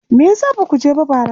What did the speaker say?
Me ya sa ba ku je ba bara?